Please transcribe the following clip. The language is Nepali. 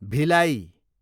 भिलाई